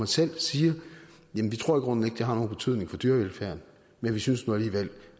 selv siger jamen vi tror i grunden ikke det har nogen betydning for dyrevelfærden men vi synes nu alligevel